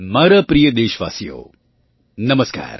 મારા પ્રિય દેશવાસીઓ નમસ્કાર